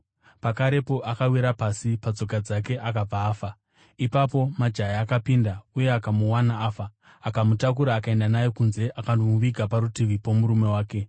Pakarepo akawira pasi, patsoka dzake akabva afa. Ipapo majaya akapinda uye akamuwana afa, akamutakura akaenda naye kunze akandomuviga parutivi pomurume wake.